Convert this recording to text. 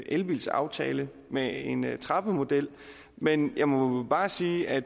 elbilsaftale med en trappemodel men jeg må bare sige at